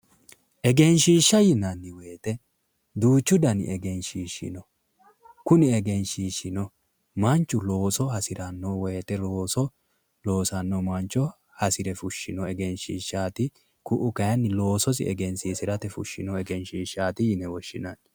Egenishiisha yinanni woyite duuchu dani egenishiishi no kuni egenishiishshino manichu looso hasiranno woyite looso loosanno manicho hasire fushanno egenishiishaat ku'u kayinni loososi egenishiishate fushanno egenishiishaat yine woshinanni